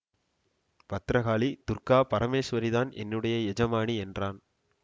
பத்திரகாளி துர்க்கா பரமேசுவரிதான் என்னுடைய எஜமானி என்றான்